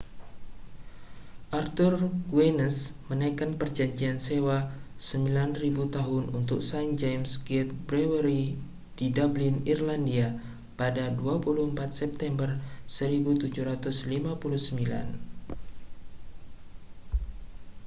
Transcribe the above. arthur guinness meneken perjanjian sewa 9.000 tahun untuk st james' gate brewery di dublin irlandia pada 24 september 1759